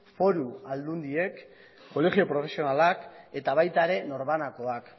foru aldundiek kolegio profesionalak eta baita ere norbanakoak